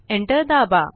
enter दाबा